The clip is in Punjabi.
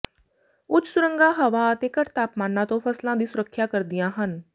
ਉੱਚ ਸੁਰੰਗਾਂ ਹਵਾ ਅਤੇ ਘੱਟ ਤਾਪਮਾਨਾਂ ਤੋਂ ਫਸਲਾਂ ਦੀ ਸੁਰੱਖਿਆ ਕਰਦੀਆਂ ਹਨ